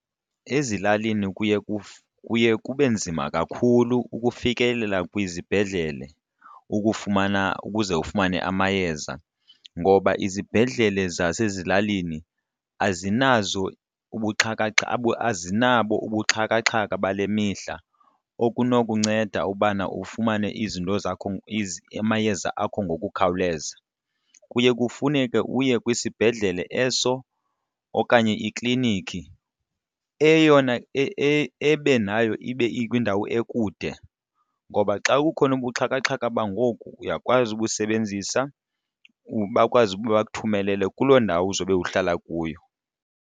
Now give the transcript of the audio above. Ezilalini kuye kuye kube nzima kakhulu ukufikelela kwizibhedlele ukufumana ukuze ufumane amayeza ngoba izibhedlele zasezilalini azinazo azinabo ubuxhakaxhaka bale mihla okunokunceda ubana ufumane izinto zakho amayeza akho ngokukhawuleza. Kuye kufuneke uye kwisibhedlele eso okanye ikliniki eyona ebe nayo ikwindawo ekude. Ngoba xa kukhona ubuxhakaxhaka bangoku uyakwazi ubusebenzisa bakwazi ukuba bakuthumele kuloo ndawo uzobe uhlala kuyo.